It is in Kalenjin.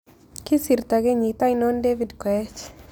Kisirto kenyit ainon david koech